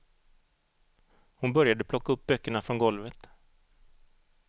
Hon började plocka upp böckerna från golvet.